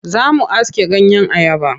Za mu aske ganyeyen ayaba.